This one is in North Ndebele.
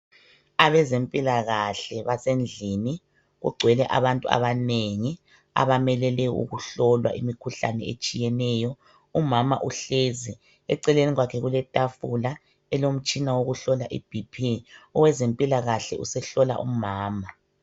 Abezempilakahle basendlini kugcwele abantu abanengi abamelele ukuhlolwa imikhuhlane etshiyeneyo. Umama uhlezi, eceleni kwakhe kuletafula elomtshina wokuhlola ibp. Owezempilakahle usehlola umama.